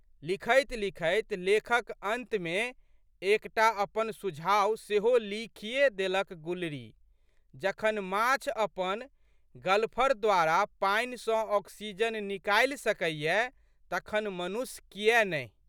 लिखैतलिखैत लेखक अंतमे एक टा अपन सुझाव सेहो लिखिए देलक गुलरीजखन माँछ अपन गलफर द्वारा पानि सँ ऑक्सीजन निकालि सकैए तखन मनुख कियै नहि?